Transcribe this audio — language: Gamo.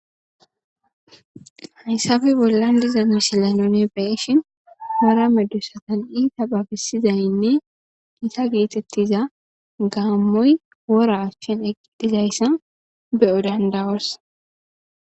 Haysafe bolan diza misile nuni be'shin,wora medosatan iita babisizaynne gita geetetiza gaamoy wora achen eqi dizaysa be7o danda7os.